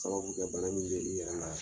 Sababu kɛ bana min bɛ i yɛrɛ la.